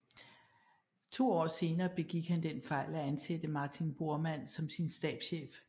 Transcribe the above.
To år senere begik han den fejl at ansætte Martin Bormann som sin stabschef